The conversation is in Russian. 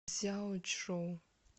цзяочжоу